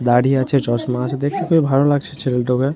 দাঁড়ি আছে চশমা আছে দেখতে খুবই ভালো লাগছে ছেলে ।